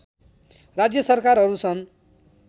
राज्य सरकारहरू सन्